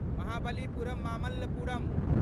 Mahabalipuram Mamallapuram